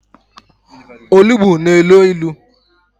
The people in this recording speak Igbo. Olugbu na-elo ilo.